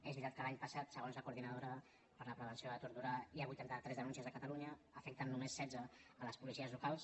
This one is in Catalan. és veritat que l’any passat segons la coordinadora per a la prevenció de la tortura hi ha vuitanta tres denúncies a catalunya n’afecten només setze les policies locals